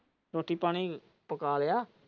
ਰੋਟੀ ਪਾਣੀ ਪਕਾ ਲਈਆਂ।